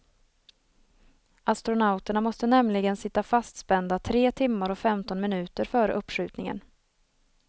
Astronauterna måste nämligen sitta fastspända tre timmar och femton minuter före uppskjutningen.